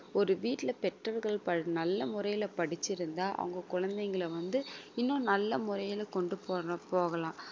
ஒரு வீட்டில பெற்றோர்கள் ப~ நல்ல முறையில படிச்சிருந்தா அவங்க குழந்தைகளை வந்து இன்னும் நல்ல முறையில கொண்டு போற~ போகலாம்